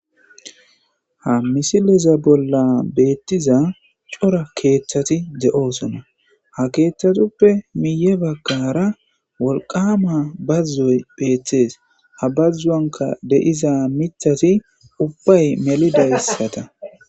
ha misileza bolla beettiza cora keeththati de7oosona ha keeththatuppe miye baggara wolqama bazuzoy bheeththees ha bazzuanka deiza mithati ubbay melidayssata